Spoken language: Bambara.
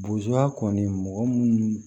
kɔni mɔgɔ munnu